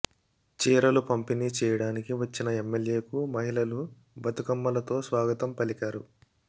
చీరలు పంపిణీ చేయడానికి వచ్చిన ఎమ్మెల్యేకు మహిళలు బతుకమ్మలతో స్వాగతం పలికారు